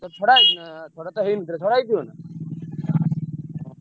ଏଥର ଛଡା ହେଇଛି ନା ଛଡା ତ ହେଇନି ଏଥର ଛଡା ହେଇଛି କଣ?